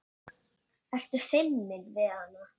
Ertu feiminn við hana?